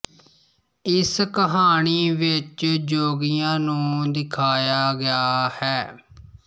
ਇਸ ਕਹਾਣੀ ਵਿੱਚ ਜੋਗੀਆਂ ਨੂੰ ਦਿਖਾਇਆ ਗਿਆ ਹੈ